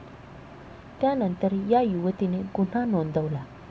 त्यांतर या युवतीने गुन्हा नोंदवला.